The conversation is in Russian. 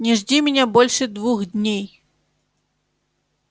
не жди меня больше двух дней